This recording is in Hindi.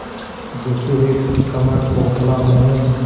झुकी हुई कमर पोपला मुँह